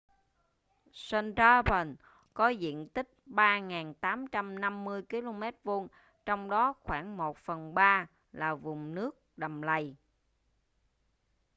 sundarbans có diện tích 3.850 km² trong đó khoảng một phần ba là vùng nước/đầm lầy